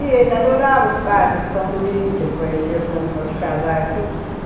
E ele adorava os padres de São Luís, que ele conheceu, fizemos corte casais, tudo.